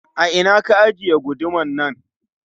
A ina ka ajiye gudumar nan?